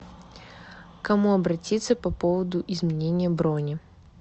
к кому обратиться по поводу изменения брони